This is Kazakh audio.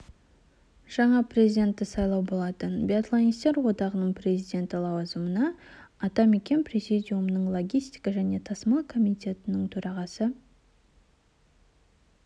жаңа президентті сайлау болатын биатлонистер одағының президенті лауазымына атамекен президиумының логистика және тасымал комитетінің төрағасы